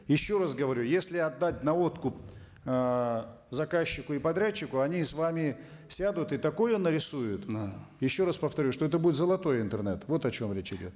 еще раз говорю если отдать наводку ыыы заказчику и подрядчику они с вами сядут и такое нарисуют еще раз повторю что это будет золотой интернет вот о чем речь идет